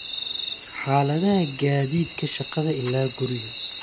xaaladaha gaadiidka shaqada ilaa guriga